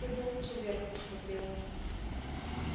ты бы лучше вверх посмотрела